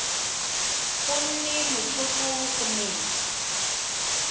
go nne motlhofo go metsa